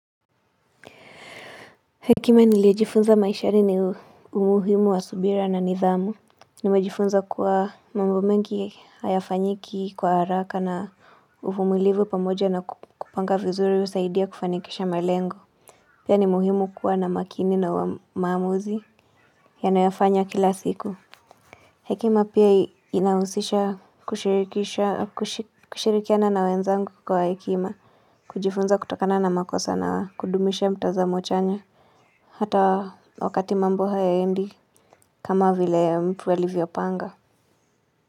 Hekima nilijifunza maishani ni umuhimu wa subira na nidhamu Nimejifunza kuwa mambo mengi hayafanyiki kwa haraka na uvumilivu pamoja na kupanga vizuri husaidia kufanikisha malengo Pia nimuhimu kuwa na makini na maamuzi Yanoyafanya kila siku Hekima pia inahusisha kushirikiana na wenzangu kwa hekima kujifunza kutokana na makosa na kudumisha mtazamo chanya Hata wakati mambo haendi kama vile ya mtua livyopanga.